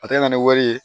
A tɛ na ni wari ye